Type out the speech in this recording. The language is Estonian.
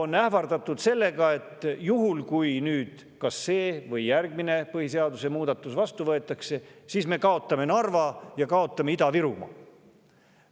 On ähvardatud, et kui see või järgmine põhiseaduse muudatus vastu võetakse, siis me kaotame Narva ja kaotame Ida-Virumaa.